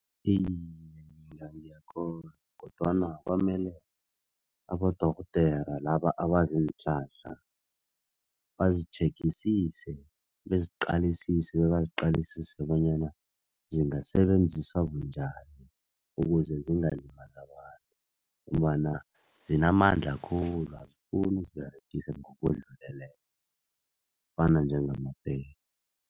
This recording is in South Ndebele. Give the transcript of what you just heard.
Iye, ngiyakholwa kodwana kwamele abodorhodera laba abazi iinhlahla bazitjhegisise, beziqalisise bebaziqalisise bonyana zingasebenziswa bunjani ukuze zingalimazi abantu ngombana zinamandla khulu azifuni uziberegisa ngokudluleleko kufana njengamapeli.